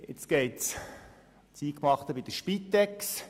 Jetzt geht es an das Eingemachte bei der Spitex.